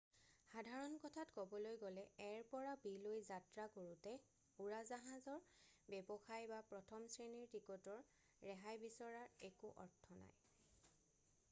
সাধাৰণ কথাত ক'বলৈ গ'লে এৰ পৰা বিলৈ যাত্ৰা কৰোঁতে উৰাজাহাৰ ব্যৱসায় বা প্ৰথম শ্ৰেণীৰ টিকটৰ ৰেহাই বিচৰাৰ একো অৰ্থ নাই